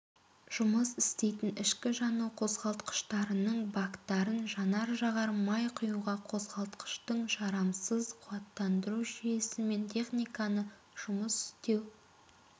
жұмыс істейтін ішкі жану қозғалтқыштарының бактарын жанар-жағар май құюға қозғалтқыштың жарамсыз қуаттандыру жүйесімен техниканы жұмыс істеу